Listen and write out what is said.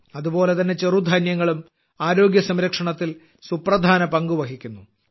അതുപോലെതന്നെ ചെറുധാന്യങ്ങളും ആരോഗ്യസംരക്ഷണത്തിൽ സുപ്രധാന പങ്കുവഹിക്കുന്നു